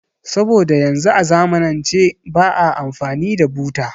Saboda yanzu a zamanance ba a amfani da buta